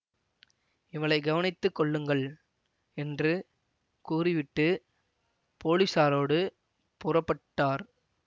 இவளைக் கவனித்து கொள்ளுங்கள் என்று கூறிவிட்டு போலீஸாரோடு புறப்பட்டார்